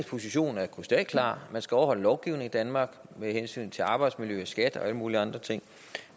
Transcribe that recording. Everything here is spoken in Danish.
position er krystalklar man skal overholde lovgivningen i danmark med hensyn til arbejdsmiljø og skat og alle mulige andre ting